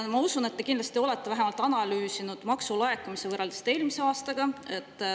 Ma usun, et te kindlasti olete analüüsinud vähemalt maksulaekumisi võrreldes eelmise aastaga.